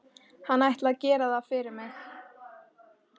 Hann ætli að gera það fyrir mig.